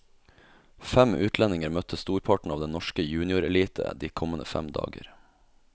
Fem utlendinger møter storparten av den norske juniorelite de kommende fem dager.